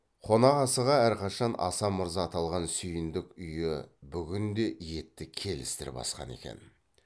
қонақасыға әрқашан аса мырза аталған сүйіндік үйі бүгін де етті келістіріп асқан екен